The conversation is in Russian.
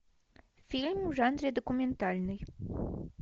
фильм в жанре документальный